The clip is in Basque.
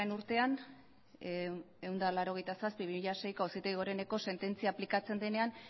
urtean ehun eta laurogeita zazpi barra bi mila seiko auzitegi goreneko sententzia aplikatzen denean